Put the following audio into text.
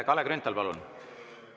Kalle Grünthal, palun!